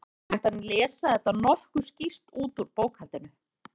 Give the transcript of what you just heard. Það er hægt að lesa þetta nokkuð skýrt út úr bókhaldinu.